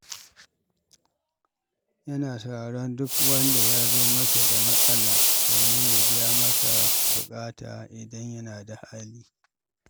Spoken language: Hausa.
Yana sauraron duk wanda ya zo masa da matsala, sannan ya biya masa buƙata idan yana da hali.